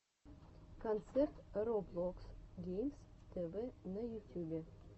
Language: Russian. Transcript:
концерт роблокс геймс тв на ютюбе